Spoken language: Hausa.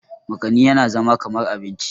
makani yana zama kamar abinci